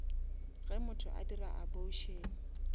ge motho a dira abortion